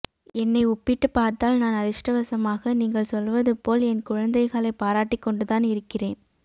என்னை ஒப்பீட்டு பார்த்தால் நான் அதிர்ஷ்டவசமாக நீங்கள் சொல்வது போல் என் குழந்தைகளை பாராட்டிக் கொண்டு தான் இருக்கிறேன்